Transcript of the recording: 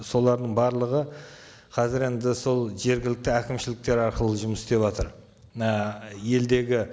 солардың барлығы қазір енді сол жергілікті әкімшіліктер арқылы жұмыс істеватыр мына елдегі